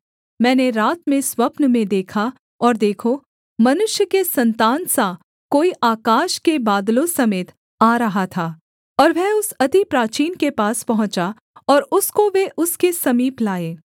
मैंने रात में स्वप्न में देखा और देखो मनुष्य के सन्तान सा कोई आकाश के बादलों समेत आ रहा था और वह उस अति प्राचीन के पास पहुँचा और उसको वे उसके समीप लाए